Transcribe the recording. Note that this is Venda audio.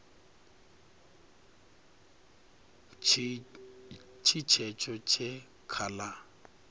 tshi tshetsho tshe kha la